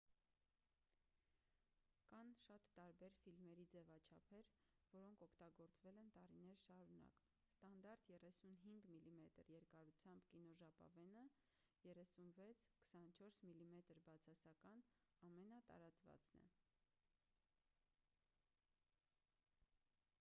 կան տարբեր ֆիլմերի ձևաչափեր որոնք օգտագործվել են տարիներ շարունակ: ստանդարտ 35 մմ երկարությամբ կինոժապավենը 36՝ 24 մմ բացասական ամենատարածվածն է: